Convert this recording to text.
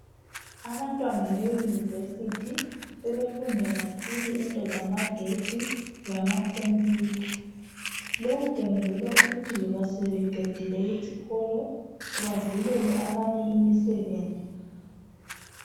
Abantwana beyunivesithi, sebefunda kakhulu into zamagetsi lamakhophuyutha. Lokhu kwenzela ukuthi loba sebeqendile isikolo bavulele abanye imisebenzi.